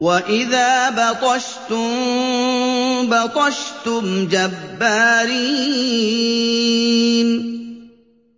وَإِذَا بَطَشْتُم بَطَشْتُمْ جَبَّارِينَ